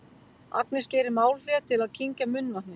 Agnes gerir málhlé til að kyngja munnvatni.